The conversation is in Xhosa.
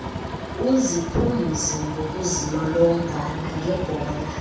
uziphumze ngokuzilolonga nangebhola